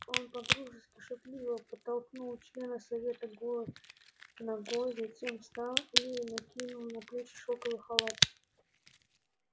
он по-дружески шутливо подтолкнул члена совета голой ногой затем встал и накинул на плечи шёлковый халат